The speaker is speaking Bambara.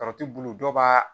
Karɔti bulu dɔw b'a